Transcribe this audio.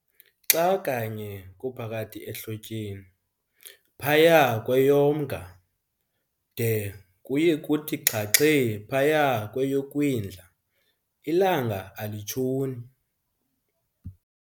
Xa kanye kuohakathi ehlotyeni, phaya kweyoMnga, de kuye kuthi xhaxhe phaya kweyoKwindla, ilanga alitshoni.